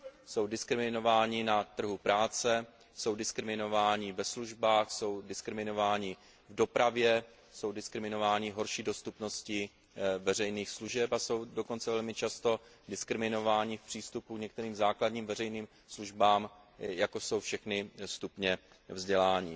Jsou diskriminováni na trhu práce, jsou diskriminováni ve službách, jsou diskriminováni v dopravě, jsou diskriminováni v horší dostupnosti veřejných služeb a jsou dokonce velmi často diskriminováni v přístupu k některým základním veřejným službám, jako jsou všechny stupně vzdělání.